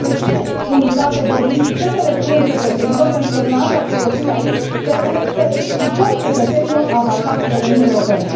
Despre ce unitate vorbim și ce să le spunem cetățenilor, pentru că dumneavoastră ați folosit aici termenii să explicăm cetățenilor avantajele Uniunii Europene?